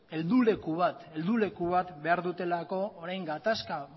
helduleku bat behar dutelako orain gatazka